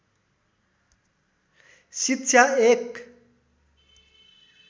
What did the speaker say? शिक्षा एक